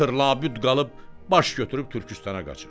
Axır labüd qalıb baş götürüb Türküstana qaçır.